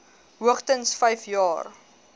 hoogstens vyf jaar